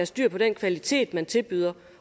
styr på den kvalitet man tilbyder